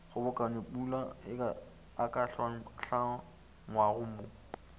kgobokanyopula a ka hlangwago mo